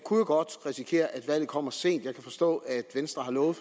godt risikere at valget kommer sent jeg kan forstå at venstre har lovet